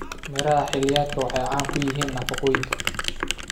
Miraha xilliyeedku waxay qani ku yihiin nafaqooyinka.